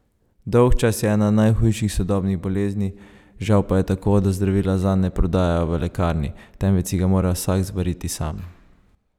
Dolgčas je ena najhujših sodobnih bolezni, žal pa je tako, da zdravila zanj ne prodajajo v lekarni, temveč si ga mora vsak zvariti sam.